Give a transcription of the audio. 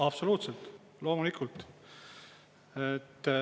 Absoluutselt, loomulikult.